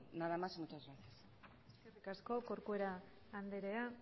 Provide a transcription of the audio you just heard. nada más y muchas gracias eskerrik asko corcuera andrea